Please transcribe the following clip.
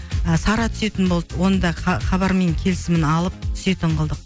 ы сара түсетін болды оны да хабармен келісімін алып түсетін қылдық